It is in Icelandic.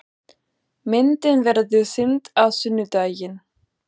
Myndin verður sýnd á sunnudaginn.